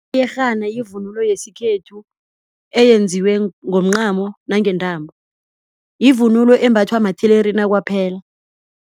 Iyerhana yivunulo yesikhethu eyenziwe ngomncamo nange intambo yivunulo embathwa mathelerina kwaphela.